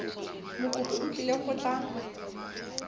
mokopi o tlile go tla